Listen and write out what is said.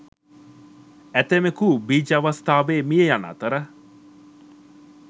ඇතැමෙකු බීජ අවස්ථාවේ මිය යන අතර